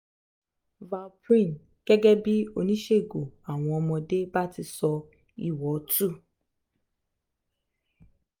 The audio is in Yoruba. valparin gẹ́gẹ́ bí oníṣègù àwọn ọmọde bá ti sọ ìwò two